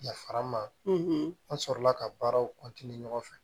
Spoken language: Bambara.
Yafara ma an sɔrɔla ka baaraw ɲɔgɔn fɛ